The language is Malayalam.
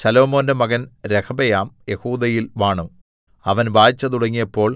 ശലോമോന്റെ മകൻ രെഹബെയാം യെഹൂദയിൽ വാണു അവൻ വാഴ്ച തുടങ്ങിയപ്പോൾ